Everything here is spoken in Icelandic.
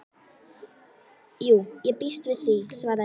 Jú, ég býst við því, svaraði ég.